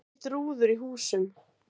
Braut rúður í húsum